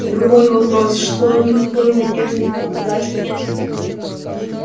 другой вопрос что никакой надежды на удачу нет